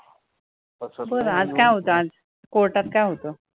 बरं, आज काय होतं आज, court मध्ये काय होतं?